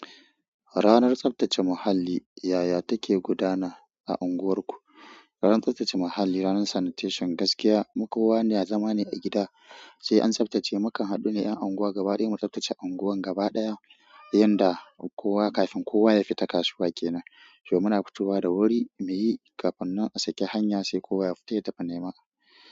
Ranar tsaftace muhalli, yaya take gudana a unguwarku? Ranan tsabtace muhalli ranan sanitation gaskiya mu kowa yana zama ne a gida sai an tsaftace, mukan haɗu ne 'yan unguwa gaba ɗaya mu tsaftace unguwar gaba ɗaya, yanda kowa kafin kowa ya fita kasuwa kenan. Toh mu na fitowa da wuri, muyi, kafin nan a saki hanya sai kowa ya fita ya tafi nema.